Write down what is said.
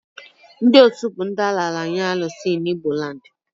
Ndị Osus bụ ndị a raara nye Alusi(Chi) in Igboland